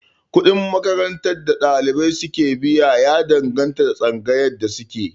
Kuɗin makarantar da ɗalibai su ke biya ya danganta da tsangayar da suke